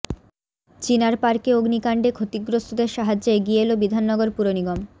চিনার পার্কে অগ্নিকাণ্ডে ক্ষতিগ্রস্তদের সাহায্যে এগিয়ে এল বিধাননগর পুরনিগম